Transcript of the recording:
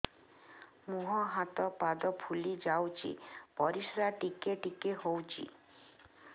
ମୁହଁ ହାତ ପାଦ ଫୁଲି ଯାଉଛି ପରିସ୍ରା ଟିକେ ଟିକେ ହଉଛି